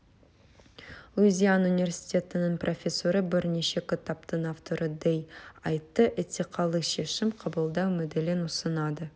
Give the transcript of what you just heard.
луизиана университетінің профессоры бірнеше кітаптың авторы дэй атты этикалық шешім қабылдау моделін ұсынады